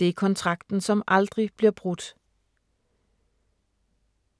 Det er kontrakten, som aldrig bliver brudt.